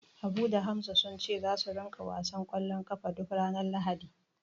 Habu da Hamza sun ce zasu ringa wasan ƙwallon ƙafa duk ranar Lahadi.